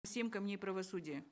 семь камней правосудия